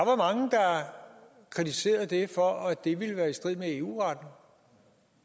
kritiserede det for at det ville være i strid med eu retten